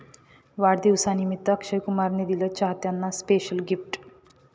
वाढदिवसनिमित्त अक्षय कुमारन दिलं चाहत्यांना स्पेशल गिफ्ट